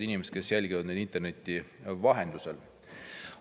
Head inimesed, kes jälgivad meid interneti vahendusel!